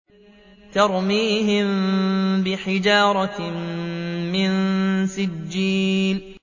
تَرْمِيهِم بِحِجَارَةٍ مِّن سِجِّيلٍ